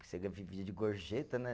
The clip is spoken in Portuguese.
Você vive de gorjeta, né?